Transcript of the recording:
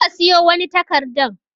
Je ka siyo wani takarɗan.